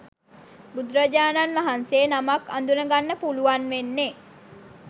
බුදුරජාණන් වහන්සේ නමක් අඳුනගන්න පුළුවන් වෙන්නෙ